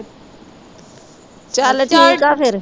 ਚੱਲ ਠੀਕ ਹੈ ਫੇਰ